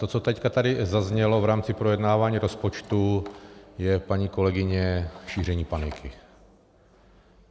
To, co teď tady zaznělo v rámci projednávání rozpočtu, je, paní kolegyně, šíření paniky.